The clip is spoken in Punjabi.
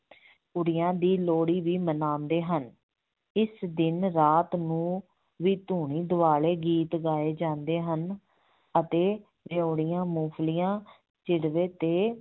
ਕੁੜੀਆਂ ਦੀ ਲੋਹੜੀ ਵੀ ਮਨਾਉਂਦੇ ਹਨ, ਇਸ ਦਿਨ ਰਾਤ ਨੂੰ ਵੀ ਧੂਣੀ ਦੁਆਲੇ ਗੀਤ ਗਾਏ ਜਾਂਦੇ ਹਨ ਅਤੇ ਰਿਓੜੀਆਂ, ਮੂੰਫਲੀਆਂ ਸਿੱਟਦੇ ਤੇ